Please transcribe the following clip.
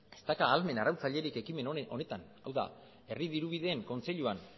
ez dauka ahalmen arautzailerik ekimen honetan hau da herri dirubideen kontseiluan